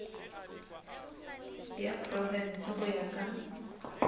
ya profense go ya ka